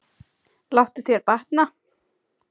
Láttu þér batna.